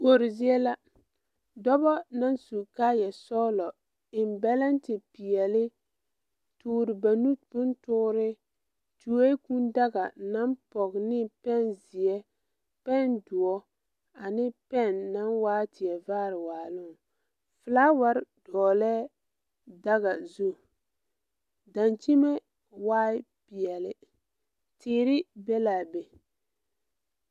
Kuore zie la dɔbɔ naŋ su kaayɛ sɔglɔ eŋ bɛlɛnte peɛle toore ba nu bon toore tuoee kūū daga naŋ pɔge ne pɛnzeɛ pɛndoɔ ane pɛn naŋ waa teɛ vaare waaloŋ flaawarre dɔɔlɛɛ daga zu daŋkyime waai peɛle teere be laa be.